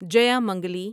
جیامنگلی